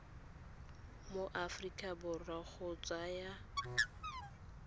mo aforika borwa go tsaya